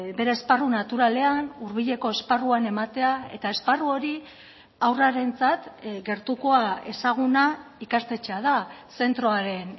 bere esparru naturalean hurbileko esparruan ematea eta esparru hori haurrarentzat gertukoa ezaguna ikastetxea da zentroaren